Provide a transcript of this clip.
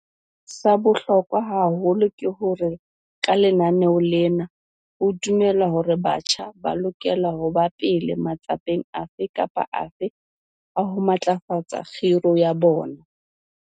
Sa bohlokwa haholo ke hore ka lenaneo lena ho dumelwa hore batjha ba lokela ho ba pele matsapeng afe kapa afe a ho matlafatsa khiro ya bona.